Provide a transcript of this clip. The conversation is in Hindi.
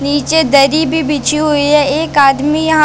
नीचे दरी भी बिछी हुई है एक आदमी यहां--